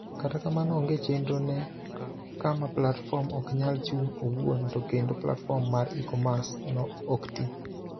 Kata kamano onge chendro ne kama platform oknyal chung' owuon to kendo platform mar e-commerce no oktii.